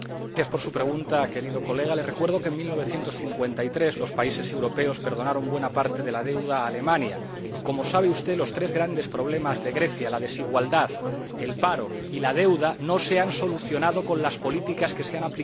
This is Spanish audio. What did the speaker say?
Querido colega, le recuerdo que en 1953 los países europeos perdonaron buena parte de la deuda a Alemania y, como sabe usted, los tres grandes problemas de Grecia —la desigualdad, el paro y la deuda— no se han solucionado con las políticas que se han aplicado hasta ahora.